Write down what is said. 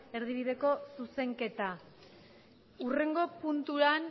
erdibideko zuzenketa hurrengo puntuan